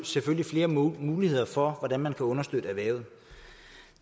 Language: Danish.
selvfølgelig flere muligheder for hvordan man kan understøtte erhvervet